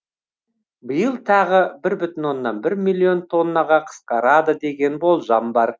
биыл тағы бір бүтін оннан бір миллион тоннаға қысқарады деген болжам бар